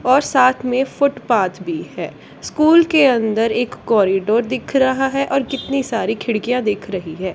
और साथ में फुटपाथ भी है स्कूल के अंदर एक कॉरिडोर दिख रहा है और कितनी सारी खिड़कियां दिख रही है।